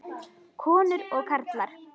Konur og karlar.